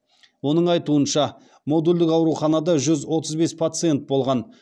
оның айтуынша модульдік ауруханада жүз отыз бес пациент болған